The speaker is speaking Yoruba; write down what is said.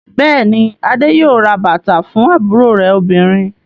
Bẹ́ẹ̀ ni, Adé yóò ra bàtà fún àbúrò rẹ̀ obìnrin.